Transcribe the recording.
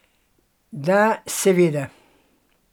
Da, seveda.